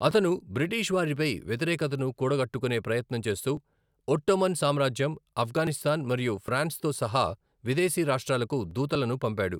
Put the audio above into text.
అతను, బ్రిటిష్ వారిపై వ్యతిరేకతను కూడగట్టుకునే ప్రయత్నం చేస్తూ, ఒట్టోమన్ సామ్రాజ్యం, ఆఫ్ఘనిస్తాన్ మరియు ఫ్రాన్స్తో సహా విదేశీ రాష్ట్రాలకు దూతలను పంపాడు.